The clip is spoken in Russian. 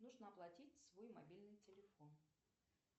нужно оплатить свой мобильный телефон